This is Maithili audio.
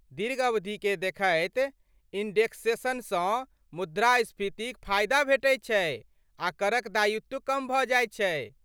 दीर्घ अवधिकेँ देखैत इंडेक्सेसनसँ मुद्रास्फीतिक फायदा भेटैत छै आ करक दायित्व कम भऽ जाइत छै।